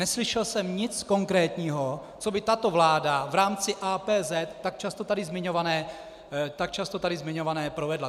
Neslyšel jsem nic konkrétního, co by tato vláda v rámci APZ, tak často tady zmiňované, provedla.